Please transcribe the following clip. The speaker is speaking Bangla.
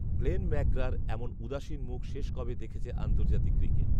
গ্লেন ম্যাকগ্রার এমন উদাসীন মুখ শেষ কবে দেখেছে আন্তর্জাতিক ক্রিকেট